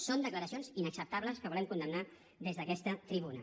són declaracions inacceptables que volem condemnar des d’aquesta tribuna